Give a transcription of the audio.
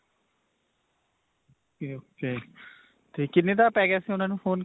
ok ok. 'ਤੇ ਕਿੰਨੇ ਦਾ ਪੈ ਗਿਆ ਸੀ ਉਨ੍ਹਾਂ ਨੂੰ phone?